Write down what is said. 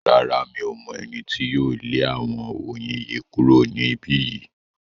Rárá, Mi ò mọ̀ ẹni tí yóò lé àwọn oyin yìí kúrò ní ibí yìí